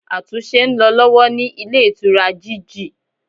Àtúnse n lo lọ́wọ́ ní Ilé Ìtura GG